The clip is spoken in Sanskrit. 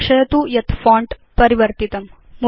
लक्षयतु यत् फोंट परिवर्तितम्